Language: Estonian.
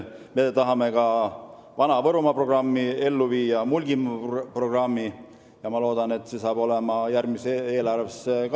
Me tahame ka Vana-Võrumaa ja Mulgimaa programmid ellu viia ja loodan, et see kajastub ka järgmises eelarves.